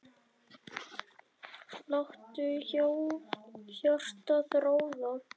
Láttu hjartað ráða.